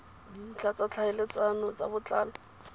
dintlha tsa tlhaeletsano ka botlalo